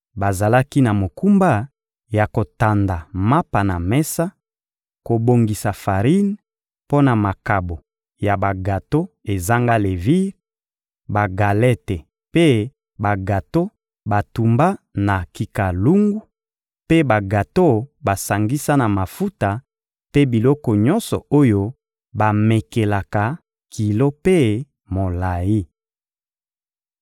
Bazalaki na mokumba ya kotanda mapa na mesa, kobongisa farine mpo na makabo ya bagato ezanga levire, bagalete mpe bagato batumba na kikalungu, mpe bagato basangisa na mafuta mpe biloko nyonso oyo bamekelaka kilo mpe molayi.